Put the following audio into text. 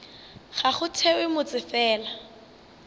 ga go thewe motse fela